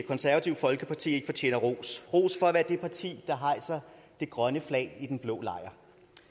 konservative folkeparti at i fortjener ros i ros for at være det parti der hejser det grønne flag i den blå lejr